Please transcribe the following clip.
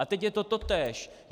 A teď je to totéž.